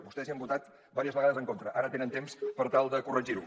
vostès hi han votat diverses vegades en contra ara tenen temps per tal de corregir ho